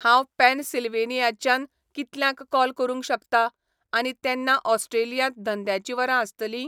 हांव पेनसिल्व्हेनियाच्यान कितल्यांक कॉल करूक शकतां आनी तेन्ना ऑस्ट्रेलियांत धंद्याची वरां आसतलीं?